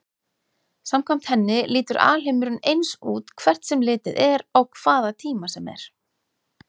Samkvæmt henni lítur alheimurinn eins út hvert sem litið er á hvaða tíma sem er.